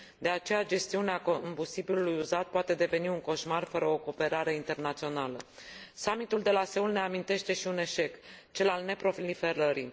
De aceea gestiunea combustibilului uzat poate deveni un coșmar, fără o cooperare internațională. Summitul de la Seoul ne amintește și un eșec, cel al neproliferării.